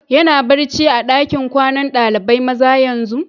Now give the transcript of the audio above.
Yana barci a'dakin kwanan dalibain maza yanzu?